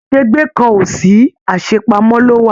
Asegbe kàn o sí, àṣepamọ̀ ló wà.